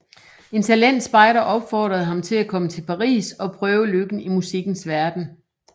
En talentspejder opfordrede ham til at komme til Paris og prøve lykken i musikkens verden